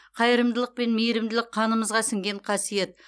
қайырымдылық пен мейірімділік қанымызға сіңген қасиет